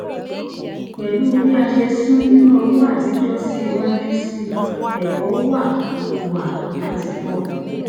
pẹlú bí a ṣe sún nina owó àtijọ sí iwájú síi ẹkọ wá wá láti kó